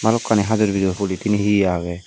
balokani hajor bijor polythene he he agey.